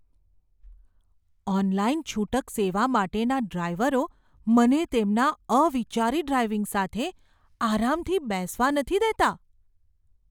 Online છૂટક સેવા માટેના ડ્રાઈવરો મને તેમના અવિચારી ડ્રાઈવિંગ સાથે આરામથી બેસવા નથી દેતા.